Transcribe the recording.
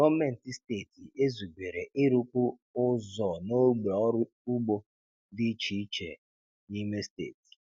Gọ́mentị steeti ezubere ịrụkwu ụzọ n’ógbè ọrụ ugbo dị iche iche n’ime steeti.